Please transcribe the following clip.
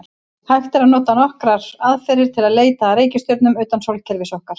Hægt er að nota nokkrar aðferðir til að leita að reikistjörnum utan sólkerfis okkar.